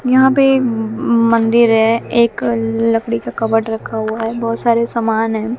यहां पर मंदिर है एक लकड़ी का कावड़ रखा हुआ है बहोत सारे सामान है।